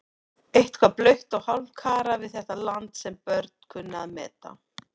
Eitthvað blautt og hálfkarað við þetta land sem börn kunnu að meta.